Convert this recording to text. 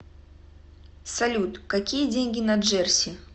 салют какие деньги на джерси